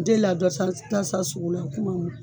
U delila dɔ san sugu la o kuma